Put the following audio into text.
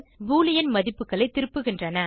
Boolean மதிப்புகளை திருப்புகின்றன